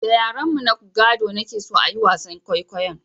Da yaren mu na gado na ke so a yi wasan kwaikwayon